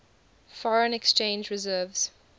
foreign exchange reserves